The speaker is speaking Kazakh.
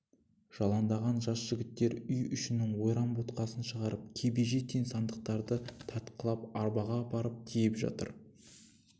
жаландаған жас жігіттер үй ішінің ойран-боткасын шығарып кебеже тең сандықтарды тартқылап арбаға апарып тиеп жатыр